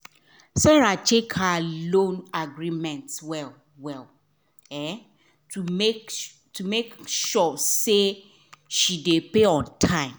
sarah check her loan agreement well well um to make um sure say she dey pay on time.